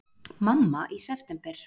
Mamma í september!